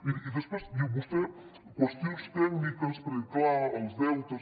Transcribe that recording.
miri i després vostè qüestions tècniques perquè és clar els deutes